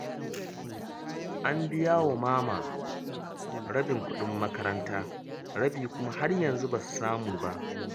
An biya wa Mama rabin kuɗin makaranta, rabi kuma har yanzu ba su samu ba